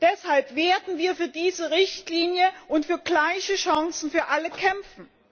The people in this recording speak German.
Deshalb werden wir für diese Richtlinie und für gleiche Chancen für alle kämpfen.